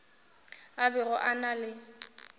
a bego a na le